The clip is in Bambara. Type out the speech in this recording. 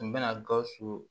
N bɛna gawusu